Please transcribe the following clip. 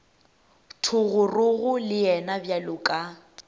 thogorogo le yena bjalo ka